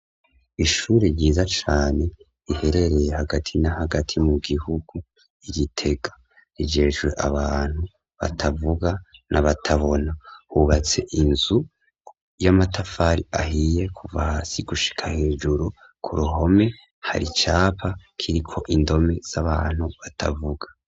Ishure ryiza cane, riherereye hagati na hagati mu gihugu, i Gitega; rijejwe abantu batavuga, n'abatabona; hubatse inzu, y'amatafari ahiye, kuva hasi gushika hejuru; ku ruhome, hari icapa, kiriko indome z'abantu batavuga.